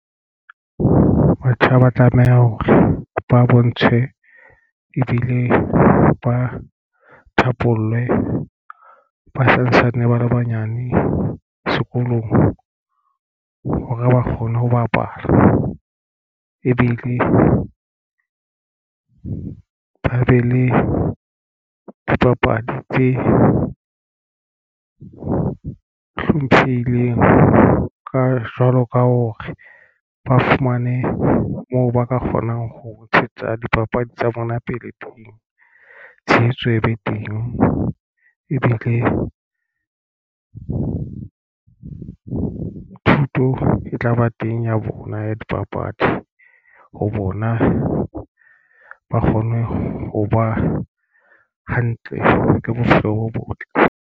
Batjha ba tlameha hore ba bontshwe ebile ba thapollwe ba santsane ba le banyane sekolong hore ba kgone ho bapala ebile ba be le dipapadi tse hlomphehileng ka jwalo ka hore ba fumane moo ba ka kgonang ho ntshetsa dipapadi tsa bona pele. Tshehetso e be teng, e be le thuto e tlaba teng ya bona ya dipapadi ho bona. Ba kgone ho ba hantle ka bophelo bo botle.